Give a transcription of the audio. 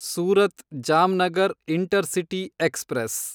Surat Jamnagar intercity express